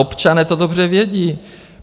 Občané to dobře vědí.